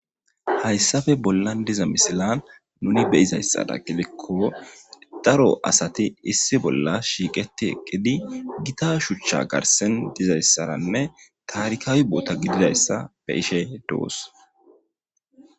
hayssafe bollan diza misilan nuni beyizayssada gilekko daro asati issi bolla shiiqeti eqqidi gita shuchcha garsen dizayssaranne taarikaawi boota gididayssa be ishe dowos